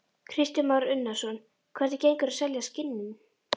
Kristján Már Unnarsson: Hvernig gengur að selja skinnin?